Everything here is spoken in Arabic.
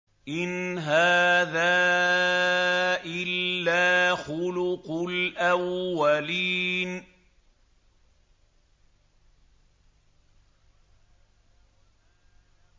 إِنْ هَٰذَا إِلَّا خُلُقُ الْأَوَّلِينَ